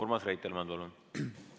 Urmas Reitelmann, palun!